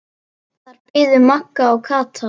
Þar biðu Magga og Kata.